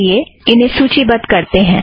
आईए इन्हें सूची बद्ध करतें हैं